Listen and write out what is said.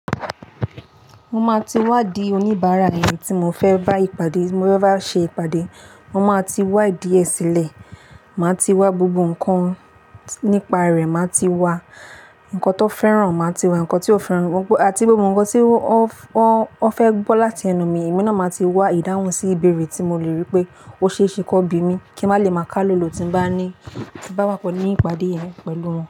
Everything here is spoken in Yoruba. Mo máa ti wá di oníbàárà ẹni tí mo fẹ́ bá ìpàdé, mo bá ṣe ìpàdé, mo máa ti wá idi e sílẹ̀. Màá ti wá gbogbo ǹkan nípa rẹ̀, màá ti wá ǹkan tó fẹ́ràn, màá ti wá ǹkan tí ó fẹ́ràn, àti gbogbo ǹkan tí ó, ó, ó fẹ́ gbọ́ láti ẹnu mi. Emi náà máa ti wá ìdáhùn sí ibẹ̀rẹ̀ tí mo le rí pé ó ṣe é ṣe kó bí mi, kí n má lè máa ká lọ̀lọ̀ tí bá ní, tí bá wá pelu ní ìpàdé yẹn pẹ̀lú wọn.